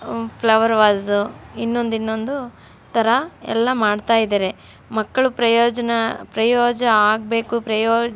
flower vase ಇನ್ನೊಂದ್ ಇನ್ನೊಂದ್ ತರ ಎಲ್ಲ ಮಾಡ್ತಾ ಇದ್ದಾರೆ ಮಕ್ಳು ಪ್ರಯೋಜನ ಪ್ರಯೋಜ ಆಗ್ಬೇಕು ಪ್ರಯೋ --